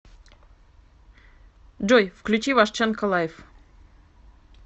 джой включи вашченко лайф